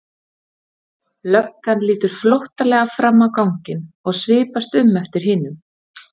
Löggan lítur flóttalega fram á ganginn og svipast um eftir hinum.